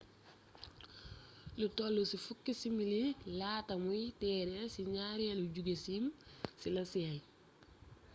lu toll ci fukki simili laata muy teer ci ñaareelu jogeseem ci la seey